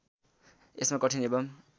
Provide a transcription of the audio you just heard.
यसमा कठिन एवं